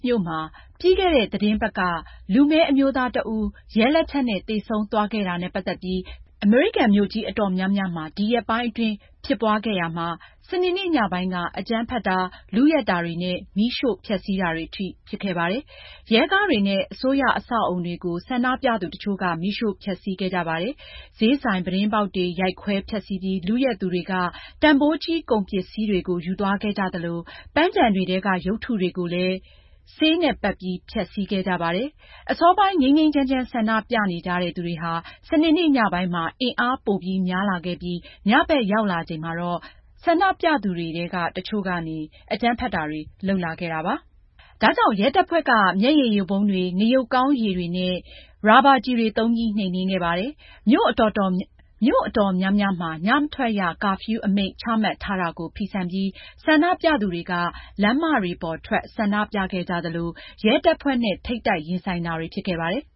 မြို့မှာ ပြီးခဲ့တဲ့ သီတင်းပတ်က လူမည်းအမျိုးသားတဦး ရဲလက်ချက်နဲ့ သေဆုံးသွားခဲ့တာနဲ့ ပတ်သက်ပြီး ကန့်ကွက် ဆန္ဒပြပွဲတွေ အမေရိကန် မြို့ကြီးအတော်များများမှာ ဒီရက်ပိုင်း ဖြစ်ပွားရာမှာ စနေနေ့ညပိုင်းက အကြမ်းဖက်တာတွေ၊ လုယက်တာတွေနဲ့ မီးရှို့ဖျက်ဆီးတာတွေအထိ ဖြစ်ခဲ့ပါတယ်။ ရဲကားတွေနဲ့ အစိုးရ အဆောက်အဦတွေကို ဆန္ဒပြသူတချို့က မီးရှို့ ဖျက်ဆီးခဲ့ကြပါတယ်။ ဈေးဆိုင် ပြတင်းပေါက်တွေ ရိုက်ခွဲ ဖျက်ဆီးပြီး လုယက်သူတွေက တန်ဖိုးကြီး ကုန်ပစ္စည်းတွေကို ယူသွားခဲ့ကြသလို ပန်းခြံတွေထဲက ရုပ်တုတွေကိုလည်း ဆေးတွေနဲ့ပက်ပြီး ဖျက်ဆီးခဲ့ကြပါတယ်။ အစောပိုင်း ငြိမ်းငြိမ်းချမ်းချမ်း ဆန္ဒပြနေကြတဲ့ သူတွေဟာ စနေနေ့ညပိုင်းမှာ အင်အားပိုများလာခဲ့ပြီး ညဘက်ရောက်လာချိန်မှာတော့ ဆန္ဒပြသူတွေထဲက တချို့က အကြမ်းဖက်တာတွေ လုပ်လာခဲ့တာပါ။ ဒါကြောင့် ရဲတပ်ဖွဲ့က မျက်ရည်ယိုဗုံးတွေ၊ ငရုတ်ကောင်းရည်တွေနဲ့ ရာဘာကျည်တွေ သုံးပြီး နှိမ်နင်းခဲ့ပါတယ်။ မြို့အတော်များများမှာ ညမထွက်ရ ကာဖျူးအမိန့် ချမှတ်ထားတာကို ဖီဆန်ပြီး ဆန္ဒပြသူတွေက လမ်းမပေါ်ထွက် ဆန္ဒပြခဲ့ကြသလို ရဲတပ်ဖွဲ့နဲ့ ထိပ်တိုက်ရင်ဆိုင်တာတွေ ဖြစ်ခဲ့ပါတယ်